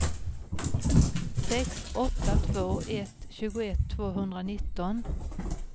sex åtta två ett tjugoett tvåhundranitton